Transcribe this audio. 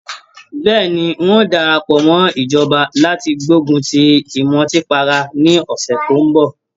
Bẹ́ẹ̀ni, ń ó darapọ̀ mọ́ ìjọba láti gbógun ti ìmùtípara ní ọ̀sẹ̀ tó ń bọ̀